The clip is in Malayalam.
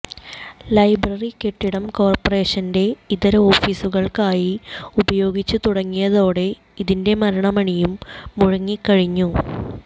ലൈബ്രറികെട്ടിടം കോര്പ്പറേഷന്റെ ഇതര ഓഫീസുകള്ക്കായി ഉപയോഗിച്ചു തുടങ്ങിയതോടെ ഇതിന്റെ മരണമണിയും മുഴങ്ങിക്കഴിഞ്ഞു